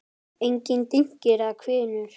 Engir dynkir eða hvinur.